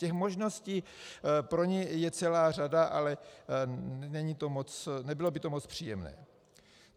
Těch možností pro ně je celá řada, ale nebylo by to moc příjemné.